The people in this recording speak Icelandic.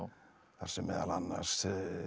þar sem meðal annars